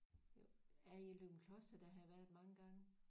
Jo ja i Løgumkloster der har jeg været mange gange